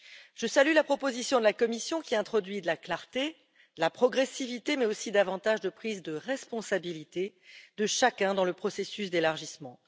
Je salue la proposition de la Commission qui introduit de la clarté, de la progressivité, mais aussi davantage de prise de responsabilité de chacun dans le processus d'élargissement.